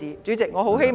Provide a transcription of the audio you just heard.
主席，我很希望......